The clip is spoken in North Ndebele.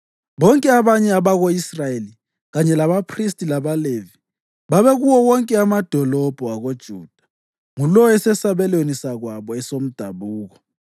Bonke abanye abako-Israyeli, kanye labaphristi labaLevi, babekuwo wonke amadolobho akoJuda, ngulowo esesabelweni sakwabo esomdabuko.